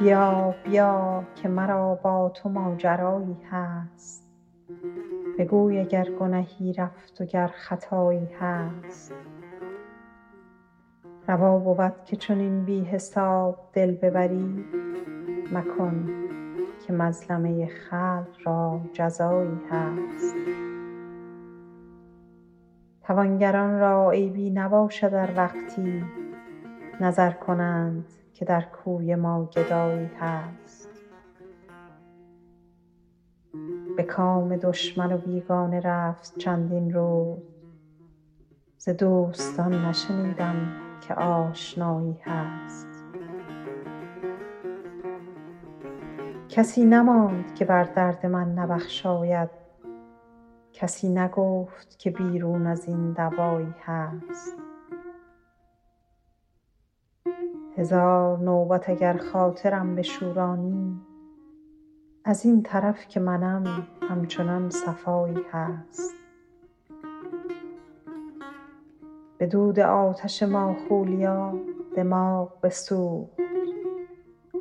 بیا بیا که مرا با تو ماجرایی هست بگوی اگر گنهی رفت و گر خطایی هست روا بود که چنین بی حساب دل ببری مکن که مظلمه خلق را جزایی هست توانگران را عیبی نباشد ار وقتی نظر کنند که در کوی ما گدایی هست به کام دشمن و بیگانه رفت چندین روز ز دوستان نشنیدم که آشنایی هست کسی نماند که بر درد من نبخشاید کسی نگفت که بیرون از این دوایی هست هزار نوبت اگر خاطرم بشورانی از این طرف که منم همچنان صفایی هست به دود آتش ماخولیا دماغ بسوخت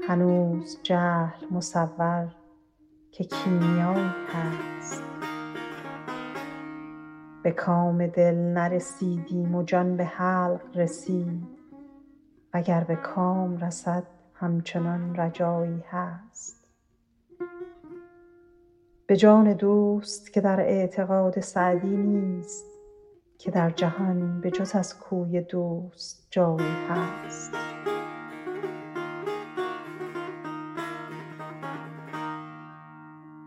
هنوز جهل مصور که کیمیایی هست به کام دل نرسیدیم و جان به حلق رسید و گر به کام رسد همچنان رجایی هست به جان دوست که در اعتقاد سعدی نیست که در جهان به جز از کوی دوست جایی هست